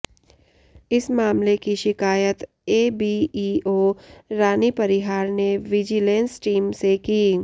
इस मामले की शिकायत एबीईओ रानी परिहार ने विजिलेंस टीम से की